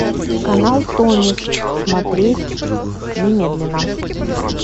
канал тонис смотреть немедленно